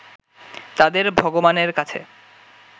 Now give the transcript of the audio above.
তাদের ভগবানের কাছে